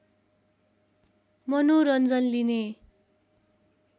मनोरञ्जन लिने